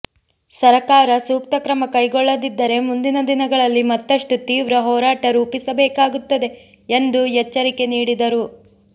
ಸರಕಾರ ಸೂಕ್ತ ಕ್ರಮ ಕೈಗೊಳ್ಳದಿದ್ದರೆ ಮುಂದಿನ ದಿನಗಳಲ್ಲಿ ಮತ್ತಷ್ಟು ತೀವ್ರ ಹೋರಾಟ ರೂಪಿಸಬೇಕಾಗುತ್ತದೆ ಎಂದು ಎಚ್ಚರಿಕೆ ನೀಡಿದರು